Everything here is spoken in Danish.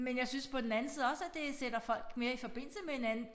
Men jeg synes på den anden side også at det sætter folk mere i forbindelse med hinanden